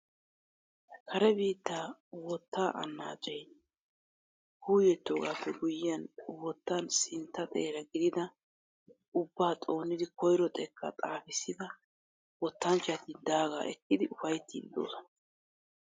Kare biittaa wottaa annaacee kuuyettoogaappe guyiyan wottan sintta xeera gididi ubbaa xoonidi koyro xekkaa xaafissida wottanchchati daagaa ekkidi ufayttiiddi de'oosona.